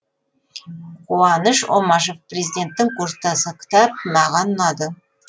қуаныш омашев президенттің курстасы кітап маған ұнады